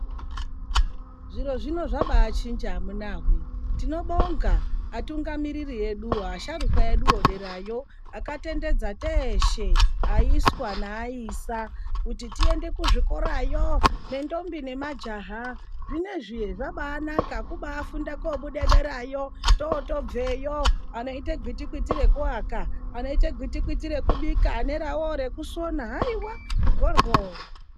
Zviro zvino zvabaachinja amunawee. Tinobonga atungamiriri eduwo, asharukwa edu, derayo. Akatendedza teshe, aiswa neaisa kuti tiende kuzvikorayo, nendombi nemajaha. Zvinezvi zvabaanaka, kubaafunda koobuda derayo. Tootobveyo anoite gwitikwiti rekuaka, anoita gwitikwiti rekubika, aneravowo rekusona, haiwa mhoryo.